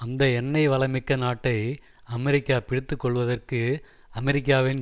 அந்த எண்ணெய் வளமிக்க நாட்டை அமெரிக்கா பிடித்துக்கொள்வதற்கு அமெரிக்காவின்